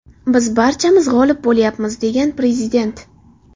Biz barchamiz g‘olib bo‘lyapmiz”, degan prezident.